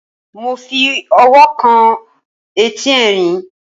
mo fi ọwọ́ kan etí ẹrin